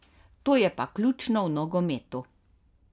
To je pa ključno v nogometu.